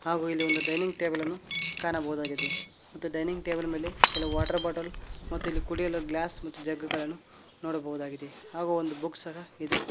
ಹಾಗೂ ಇಲ್ಲಿ ಒಂದು ಡೈನಿಂಗ್ ಟೇಬಲ್ ಅನ್ನು ಕಾಣಬಹುದಾಗಿದೆ ಮತ್ತು ಡೈನಿಂಗ್ ಟೇಬಲ್ ಮೇಲೆ ಕೆಲವು ವಾಟರ್ ಬಾಟಲ್ ಮತ್ತು ಇಲ್ಲಿ ಕುಡಿಯುವ ಗ್ಲಾಸ್ ಮತ್ತು ಜಗ್ ಗಳನ್ನು ನೋಡಬಹುದಾಗಿದೆ ಆಗು ಒಂದು ಬುಕ್ ಸಹ ಇದೆ.